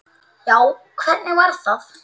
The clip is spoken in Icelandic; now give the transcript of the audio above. Já, hvernig var það?